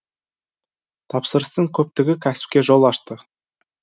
тапсырыстың көптігі кәсіпке жол ашты